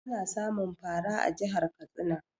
Ana samun fara a jihar Katsina